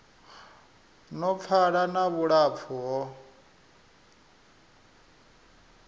no pfala na vhulapfu ho